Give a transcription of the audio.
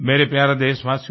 मेरे प्यारे देशवासियो